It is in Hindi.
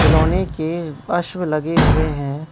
खिलौने के अश्व लगे हुए हैं।